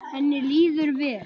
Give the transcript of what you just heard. Henni líður vel?